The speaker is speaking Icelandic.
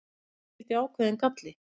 Því fylgdi ákveðinn galli.